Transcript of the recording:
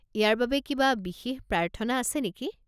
ইয়াৰ বাবে কিবা বিশেষ প্ৰাৰ্থনা আছে নেকি?